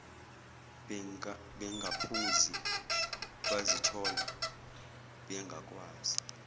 bengaphuzi bazithola bengakwazi